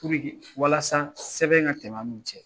Puruki walasa sɛbɛn ka tɛmɛ an n'u cɛ.